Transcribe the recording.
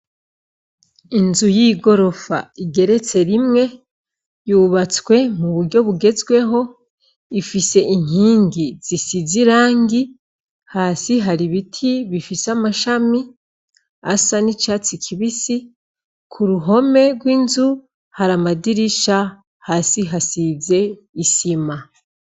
Inzu y'igorofa igeretse rimwe yubatswe mu buryo bugezweho ifise inkingi zisizirangi hasi hari ibiti bifise amashami asa n'icatsi kibisi ku ruhome rw'inzu hari amadirisha hasi hasize isima.